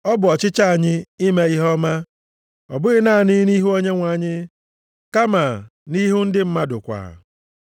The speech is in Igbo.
Ọ bụ ọchịchọ anyị ime ihe ọma, ọ bụghị naanị nʼihu Onyenwe anyị, kama nʼihu ndị mmadụ kwa.